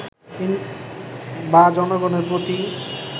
বা জনগনের প্রতি